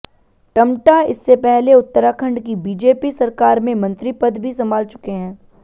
टम्टा इससे पहले उत्तराखंड की बीजेपी सरकार में मंत्री पद भी संभाल चुके हैं